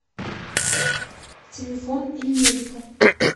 телефон ильмедика